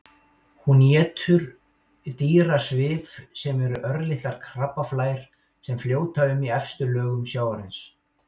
Hún étur dýrasvif sem eru örlitlar krabbaflær sem fljóta um í efstu lögum sjávarins.